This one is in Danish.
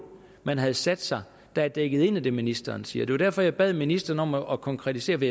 man havde sat sig der er dækket ind af det ministeren siger det var derfor jeg bad ministeren om at konkretisere det